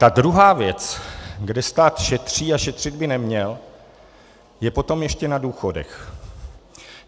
Ta druhá věc, kde stát šetří a šetřit by neměl, je potom ještě na důchodech.